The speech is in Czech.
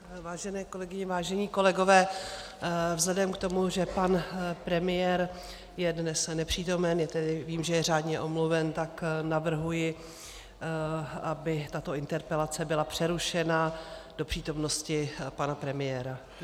Vážené kolegyně, vážení kolegové, vzhledem k tomu, že pan premiér je dnes nepřítomen, vím, že je řádně omluven, tak navrhuji, aby tato interpelace byla přerušena do přítomnosti pana premiéra.